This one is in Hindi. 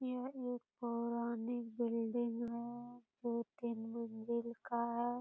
यह एक पुरानी बिल्डिंग है जो तीन मंजिल का है।